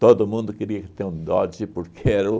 Todo mundo queria ter um Dodge porque era o...